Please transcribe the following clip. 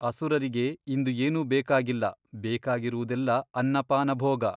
ಅಸುರರಿಗೆ ಇಂದು ಏನೂ ಬೇಕಾಗಿಲ್ಲ ಬೇಕಾಗಿರುವುದೆಲ್ಲ ಅನ್ನಪಾನಭೋಗ !